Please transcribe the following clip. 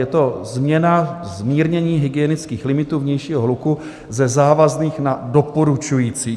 Je to změna, zmírnění hygienických limitů vnějšího hluku ze závazných na doporučující.